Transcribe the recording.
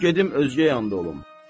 Qoyun gedim özgə yanda olum.